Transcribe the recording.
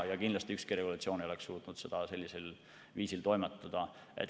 Kindlasti ei oleks ükski regulatsioon suutnud sellisel viisil toimetada.